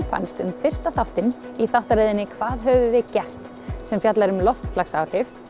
fannst um fyrsta þáttinn í þáttaröðinni hvað höfum við gert sem fjalla um loftslagsbreytingar